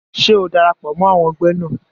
Ṣé o darapọ̀ mọ́ àwọn ẹgbẹ́ náà?